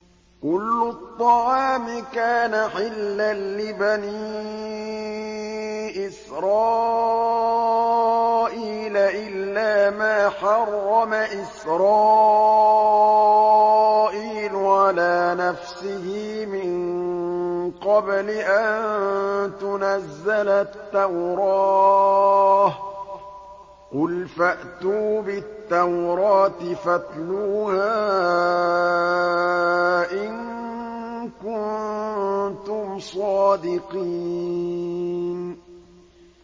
۞ كُلُّ الطَّعَامِ كَانَ حِلًّا لِّبَنِي إِسْرَائِيلَ إِلَّا مَا حَرَّمَ إِسْرَائِيلُ عَلَىٰ نَفْسِهِ مِن قَبْلِ أَن تُنَزَّلَ التَّوْرَاةُ ۗ قُلْ فَأْتُوا بِالتَّوْرَاةِ فَاتْلُوهَا إِن كُنتُمْ صَادِقِينَ